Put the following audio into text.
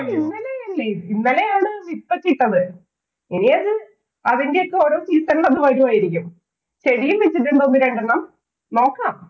ഇന്നലെയല്ലേ. ഇന്നലെയാണ് വിത്തൊക്കെയിട്ടത്. ഇനി അത് അതിന്‍റെ ഒക്കെ ഓരോ season ഇല്‍ അത് വരുവായിരിക്കും. ചെടീം വച്ചിട്ടുണ്ട് ഒന്ന് രണ്ടെണ്ണം. നോക്കാം.